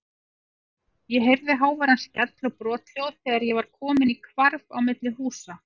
Ég heyrði háværan skell og brothljóð þegar ég var kominn í hvarf á milli húsa.